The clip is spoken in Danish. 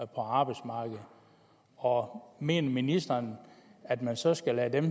på arbejdsmarkedet og mener ministeren at man så skal lade dem